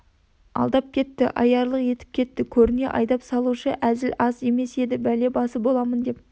алдап кетті аярлық етіп кетті көріне айдап салушы әзіл аз емес еді бәле басы боламын деп